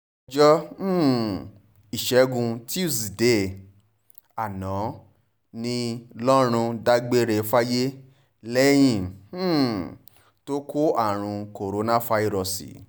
ọjọ́ um ìṣègùn túṣìdée àná ní lọ́run dágbére fáyé lẹ́yìn um tó kó àrùn korofairósí